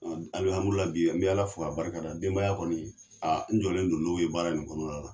bi n bɛ Ala fo k'a barika da denbaya kɔni n jɔlen do n'o ye baara nin kɔnɔna la.